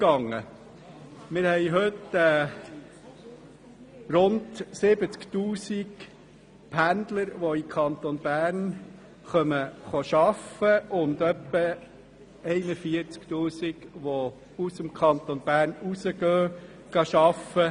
Wir haben heute rund 70 000 Pendler von ausserhalb des Kantons, die im Kanton Bern arbeiten und etwa 41 000 Pendler, die im Kanton wohnen und ausserhalb des Kantons arbeiten.